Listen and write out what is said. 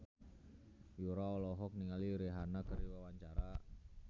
Yura olohok ningali Rihanna keur diwawancara